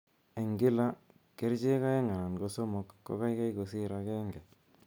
Eng' kila �kercheek aeng' anan somok ko kaikai kosir agenge.